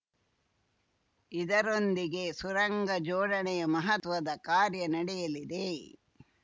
ಇದರೊಂದಿಗೆ ಸುರಂಗ ಜೋಡಣೆಯ ಮಹತ್ವದ ಕಾರ್ಯ ನಡೆಯಲಿದೆ